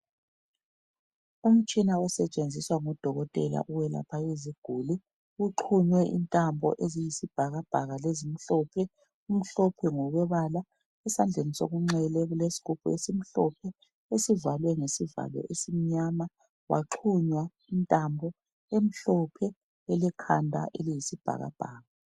Umtshina osetshenziswa ngu dokotela ukwelapha iziguli uxhunywe intambo eziyi sibhakabhaka lezimhlophe, kumhlophe ngokobala esandleni sokunxele kulesigubhi esimhlophe esivalwe ngesivalo esimnyama kwaxhunya intambo emhlophe elekhanda eliyisibhakabhaka.